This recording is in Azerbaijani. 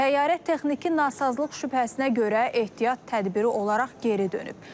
Təyyarə texniki nasazlıq şübhəsinə görə ehtiyat tədbiri olaraq geri dönüb.